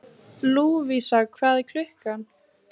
Lúvísa, hvað er klukkan?